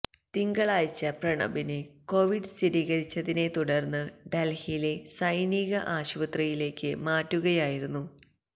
തിങ്കളാഴ്ച പ്രണബിന് കൊവിഡ് സ്ഥിരീകരിച്ചതിനെ തുടര്ന്ന് ഡല്ഹിയിലെ സൈനിക ആശുപത്രിയലേക്ക് മാറ്റുകയായിരുന്നു